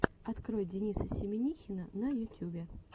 открой дениса семинихина на ютюбе